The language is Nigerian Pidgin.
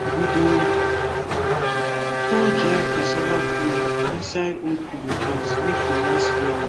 we dey pour dry cassava flake inside old pillowcase make e last wella